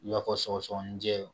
I b'a fɔ sɔgɔsɔgɔninjɛ